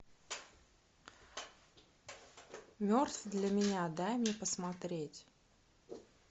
мертв для меня дай мне посмотреть